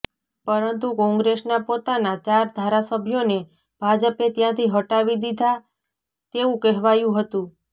પરંતુ કોંગ્રેસના પોતાના ચાર ધારાસભ્યોને ભાજપે ત્યાંથી હટાવી દીધા તેવું કહેવાયું હતું